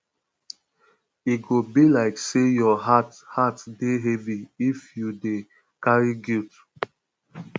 e go be like sey your heart heart dey heavy if you dey um carry guilt um